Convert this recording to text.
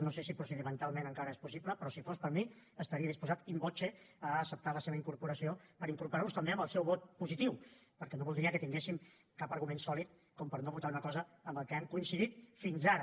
no sé si procedimentalment encara és possible però si fos per mi estaria disposat in voce a acceptar la seva incorporació per incorporar los també amb el seu vot positiu perquè no voldria que tinguéssim cap argument sòlid per no votar una cosa en què hem coincidit fins ara